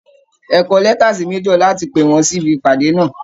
Ẹ kọ lẹ́ta sí major láti pè wọ́n sí ibi ìpàdé náà!